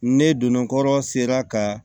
Ne donnɔrɔ sera ka